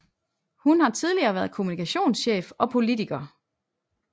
Hun har tidligere været kommunikationschef og politiker